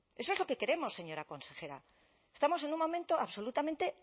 eso es lo que queremos señora consejera estamos en un momento absolutamente